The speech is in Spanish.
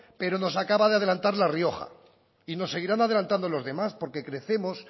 pero nos acaba de adelantar la rioja y nos seguirán adelantando los demás porque crecemos